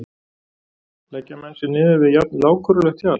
Leggja menn sig niður við jafn lágkúrulegt hjal?